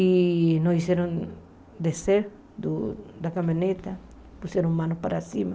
E nos fizeram descer do da caminhonete, puseram as mãos para cima.